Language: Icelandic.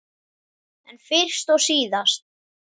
En fyrst og síðast.